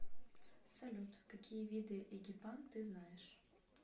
салют какие виды эгипан ты знаешь